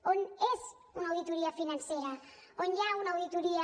on és una auditoria financera on hi ha una auditoria